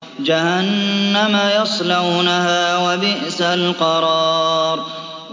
جَهَنَّمَ يَصْلَوْنَهَا ۖ وَبِئْسَ الْقَرَارُ